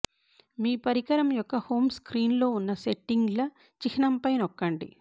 మీ పరికరం యొక్క హోమ్ స్క్రీన్లో ఉన్న సెట్టింగ్ల చిహ్నంపై నొక్కండి